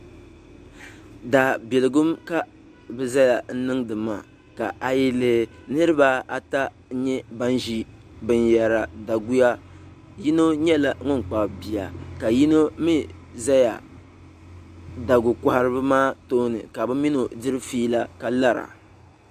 daabiligum ka bɛ zaya n-niŋdi maa ka a yi lihi niriba ata n-nyɛ ban ʒi binyɛra daguya yino nyɛla ŋun kpabi bia ka yino mi zaya dagu'kɔhiriba maa tooni ka bɛ mini o diri fiila ka lara